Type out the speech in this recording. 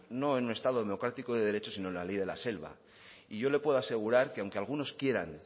no en un estado democrático y de derecho sino en la ley de la selva y yo le puedo asegurar que aunque algunos quieran